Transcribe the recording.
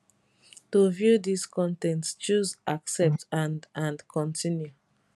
to view dis con ten t choose accept and and continue